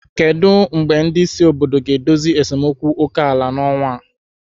Kedu mgbe ndị isi obodo ga-edozi esemokwu oke ala n'ọnwa a?